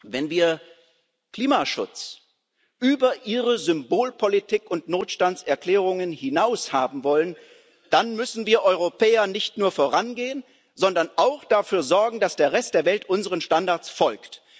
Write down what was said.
Wenn wir Klimaschutz über Ihre Symbolpolitik und Notstandserklärungen hinaus haben wollen, dann müssen wir Europäer nicht nur vorangehen, sondern auch dafür sorgen, dass der Rest der Welt unseren Standards folgt.